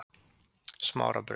Smárabraut